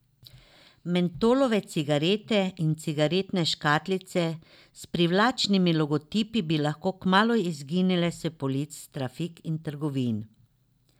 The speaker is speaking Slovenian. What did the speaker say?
Mentolove cigarete in cigaretne škatlice s privlačnimi logotipi bi lahko kmalu izginile s polic trafik in trgovin.